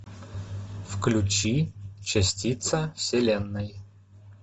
включи частица вселенной